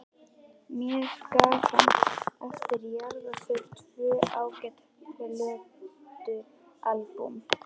Mér gaf hann eftir jarðarförina tvö ágæt plötualbúm.